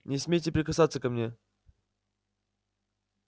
не смейте прикасаться ко мне